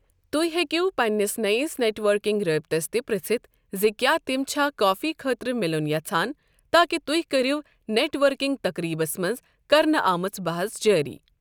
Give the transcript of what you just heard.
تُہۍ ہیکِو پننِس نٔیِس نیٹ ورکنگ رٲبطس تہِ پرژھتھ زِ کیا تِم چھا کافی خٲطرٕ مِلُن یژھان تاکہ تُہۍ کرِو نیٹ ورکنگ تقریٖبَس منٛز کرنہٕ آمٕژ بَحَژ جٲری۔